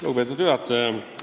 Lugupeetud juhataja!